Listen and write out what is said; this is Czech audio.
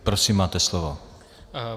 Prosím, máte slovo.